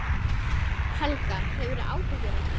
Helga: Hefurðu áhyggjur af þeim?